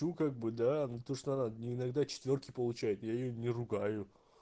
ну как бы да но точно надо иногда четвёрки получает я её не ругаю